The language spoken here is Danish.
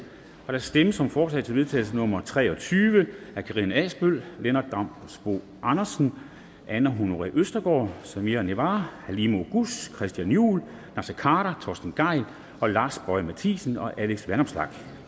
der stemmes om forslag til vedtagelse nummer v tre og tyve af karina adsbøl lennart damsbo andersen anne honoré østergaard samira halime oguz christian juhl naser khader torsten gejl lars boje ma thiesen og alex vanopslagh